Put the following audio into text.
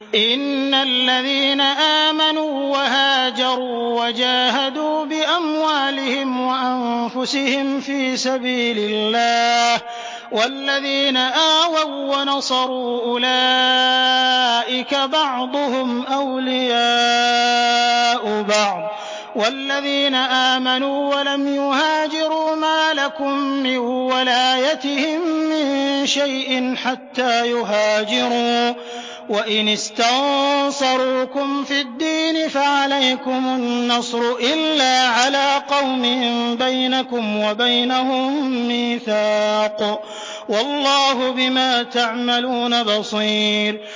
إِنَّ الَّذِينَ آمَنُوا وَهَاجَرُوا وَجَاهَدُوا بِأَمْوَالِهِمْ وَأَنفُسِهِمْ فِي سَبِيلِ اللَّهِ وَالَّذِينَ آوَوا وَّنَصَرُوا أُولَٰئِكَ بَعْضُهُمْ أَوْلِيَاءُ بَعْضٍ ۚ وَالَّذِينَ آمَنُوا وَلَمْ يُهَاجِرُوا مَا لَكُم مِّن وَلَايَتِهِم مِّن شَيْءٍ حَتَّىٰ يُهَاجِرُوا ۚ وَإِنِ اسْتَنصَرُوكُمْ فِي الدِّينِ فَعَلَيْكُمُ النَّصْرُ إِلَّا عَلَىٰ قَوْمٍ بَيْنَكُمْ وَبَيْنَهُم مِّيثَاقٌ ۗ وَاللَّهُ بِمَا تَعْمَلُونَ بَصِيرٌ